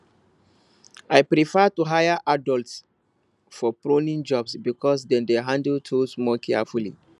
i prefer to hire adults for pruning jobs because dem dey handle tools more carefully